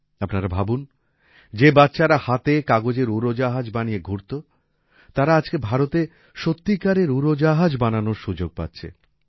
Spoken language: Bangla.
আপনারা ভাবুন যে বাচ্চারা হাতে কাগজের উড়োজাহাজ বানিয়ে ঘুরত তারা আজকে ভারতে সত্যিকারের উড়োজাহাজ বানানোর সুযোগ পাচ্ছে